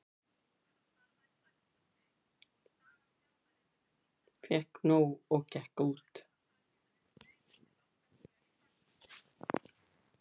Fékk nóg og gekk út